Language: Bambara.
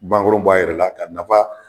Bankoro bɔ a yɛrɛ la ka nafa